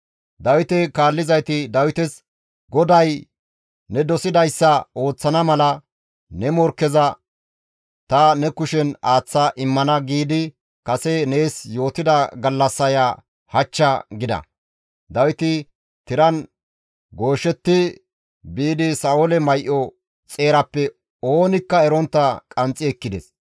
Dawite kaallizayti Dawites, «GODAY, ‹Ne dosidayssa ooththana mala ne morkkeza ta ne kushen aaththa immana› giidi kase nees yootida gallassaya hachcha» gida. Dawiti tiran gooshetti biidi Sa7oole may7o xeerappe oonikka erontta qanxxi ekkides.